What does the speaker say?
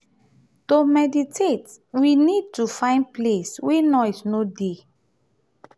to meditate we need to find place wey noise no dey